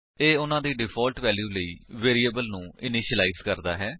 ਇਹ ਉਨ੍ਹਾਂ ਦੀ ਡਿਫਾਲਟ ਵੈਲਿਊ ਲਈ ਵੇਰਿਏਬਲ ਨੂੰ ਇਨਿਸ਼ੀਲਾਇਜ ਕਰਦਾ ਹੈ